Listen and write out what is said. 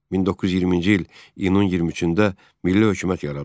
1920-ci il iyunun 23-də milli hökumət yaradıldı.